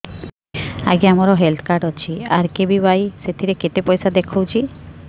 ଆଜ୍ଞା ମୋର health card ଅଛି ଆର୍.କେ.ବି.ୱାଇ ସେଥିରେ କେତେ ପଇସା ଦେଖଉଛି